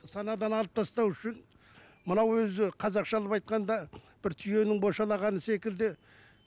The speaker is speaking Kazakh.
санадан алып тастау үшін мынау өзі қазақшалап айтқанда бір түйенің бошалағаны секілді